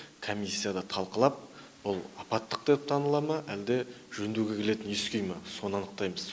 комиссияда талқылап бұл апаттық деп таныла ма әлде жөндеуге келетін ескі үй ма соны анықтаймыз